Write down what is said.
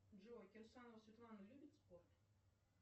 джой кирсанова светлана любит спорт